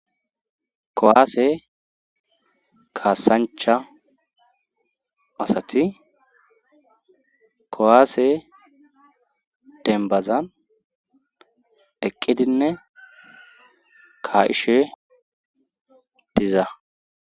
kowaase kaasancha asati kowaase denbazan eqqidinne ka7ishe diza